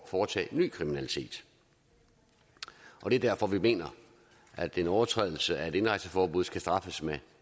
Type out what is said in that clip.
foretage ny kriminalitet det er derfor vi mener at en overtrædelse af et indrejseforbud skal straffes med